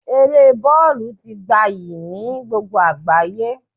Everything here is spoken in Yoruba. Eré bọ́ọ̀lù ti gabyi ni gbogbo àgbáyé